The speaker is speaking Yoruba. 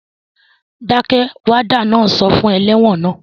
Dákẹ́! Wádà náà sọ fún ẹlẹ́wọ̀n naa